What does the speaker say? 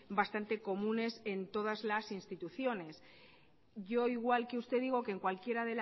bastante comunes en todas las instituciones yo igual que usted digo que cualquiera